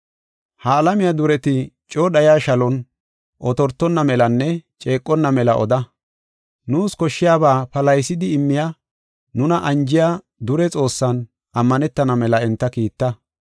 Ha alamiya dureti coo dhayiya shalon otortonna melanne ceeqonna mela oda. Nuus koshshiyaba palahisidi immiya nuna anjiya, dure Xoossan ammanetana mela enta kiitta.